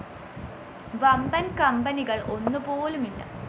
വമ്പന്‍ കമ്പനികള്‍ ഒന്നു പോലുമില്ല